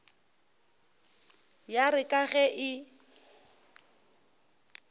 ya re ka ge e